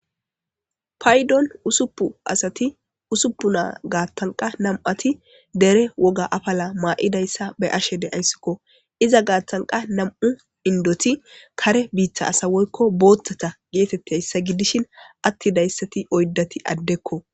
paydon usupu asati usuppu naa gaattan qa nam'ati dere woga afala maa'idayssa be'ashe de'ayssikko iza gaattanqa nam'u indoti kare biiththa asawoykko booththata geetettiayssa giddishin attidayssati oyddati addekko